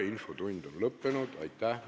Aitäh ministritele!